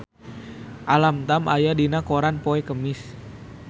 Alam Tam aya dina koran poe Kemis